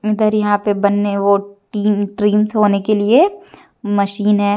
इधर यहां पे बनने और टी ट्रींस होने के लिए मशीन है।